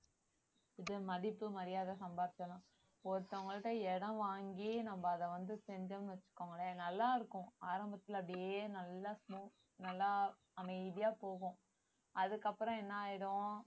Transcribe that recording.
இது மதிப்பு மரியாதை ஒருத்தவங்கள்ட்ட இடம் வாங்கி நம்ம அதை வந்து செஞ்சோம்னு வச்சுக்கோங்களேன் நல்லா இருக்கும் ஆரம்பத்துல அப்படியே நல்லா smoo~ நல்லா அமைதியா போகும் அதுக்கப்புறம் என்ன ஆயிடும்